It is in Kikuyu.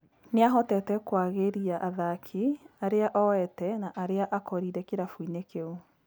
Nĩahotete kwagĩria athaki, arĩa oete na arĩa akorire kĩrabu inĩ kĩu